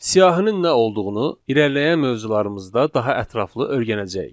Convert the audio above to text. Siyahının nə olduğunu irəliləyən mövzularımızda daha ətraflı öyrənəcəyik.